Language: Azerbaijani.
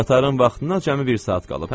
Qatarın vaxtına cəmi bir saat qalıb.